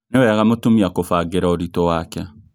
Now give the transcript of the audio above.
Nĩ wega mũtumia kũbangĩra ũritũ wake